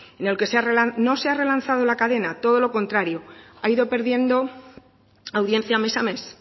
en el que no se ha relanzado la cadena todo lo contrario ha ido perdiendo audiencia mes a mes